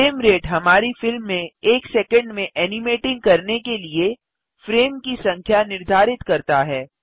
frame rate हमारी film में एक सैकंड में ऐनिमेटिंग करने के लिए फ्रेम की संख्या निर्धारित करता है